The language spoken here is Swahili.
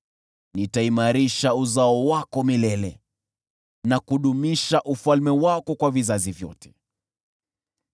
‘Nitaimarisha uzao wako milele na kudumisha ufalme wako kwa vizazi vyote.’ ”